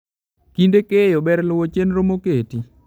Kinde keyo, ber luwo chenro moketi.